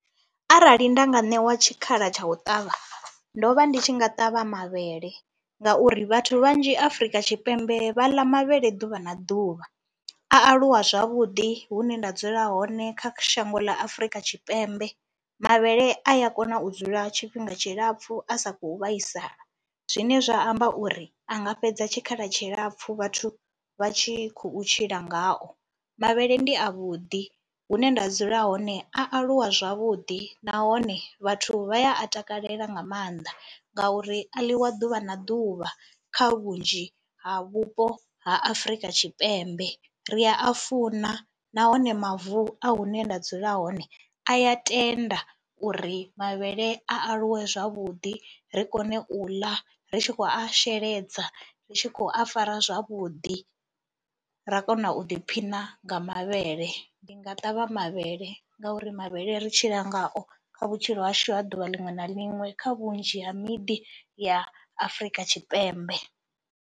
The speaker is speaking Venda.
Arali nda nga ṋewa tshikhala tsha u ṱavha ndo vha ndi tshi nga ṱavha mavhele ngauri vhathu vhanzhi Afrika Tshipembe vha ḽa mavhele ḓuvha na ḓuvha, a aluwa zwavhuḓi hune nda dzula hone. Kha shango ḽa Afrika Tshipembe mavhele a ya kona u dzula tshifhinga tshilapfhu a sa khou vhaisala zwine zwa amba uri a nga fhedza tshikhala tshilapfhu vhathu vha tshi khou tshila ngao. Mavhele ndi avhuḓi, hune nda dzula hone a aluwa zwavhuḓi nahone vhathu vha ya a takalela nga maanḓa ngauri a ḽiwa ḓuvha na ḓuvha kha vhunzhi ha vhupo ha Afrika Tshipembe, ri a funa nahone mavu a hune nda dzula hone a ya tenda uri mavhele a aluwe zwavhuḓi, ri kone u ḽa ri tshi khou a sheledza, ri tshi khou a fara zwavhuḓi, ra kona u ḓiphina nga mavhele. Ndi nga ṱavha mavhele ngauri mavhele ri tshila ngao kha vhutshilo hashu ha ḓuvha liṅwe na liṅwe kha vhunzhi ha miḓi ya Afrika Tshipembe.